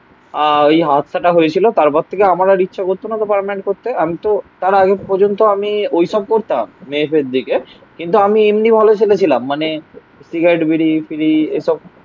আহ ওই হাতসাটা হয়েছিল. তারপর থেকে আমার আর ইচ্ছা করতো না. তো পার্মানেন্ট করতে. আমি তো তাঁরা আগে পর্যন্ত আমি ওইসব করতাম. মেয়েদের দিকে. কিন্তু আমি এমনি ভালো ছেলে ছিলাম. মানে সিগারেট বিড়ি ফিরি এসব